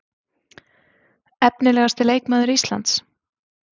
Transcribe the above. Efnilegasti leikmaður Íslands?